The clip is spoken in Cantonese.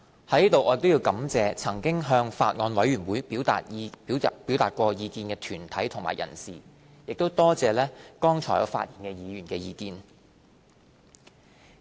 在此我亦感謝曾經向法案委員會表達意見的團體及人士，也多謝剛才發言議員的意見。